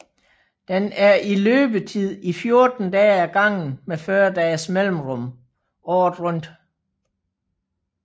Den er i løbetid i 14 dage ad gangen med 40 dages mellemrum året rundt